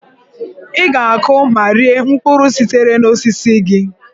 Ị ga-akụ ma rie mkpụrụ sitere n'osisi gị.